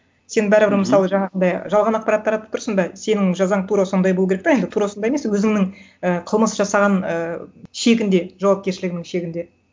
сен бәрібір мысалы жаңағындай жалған ақпарат таратып тұрсың ба сенің жазаң тура сондай болу керек та енді тура осындай емес өзіңнің і қылмыс жасаған ыыы шегіңде жауапкершілігіңнің шегінде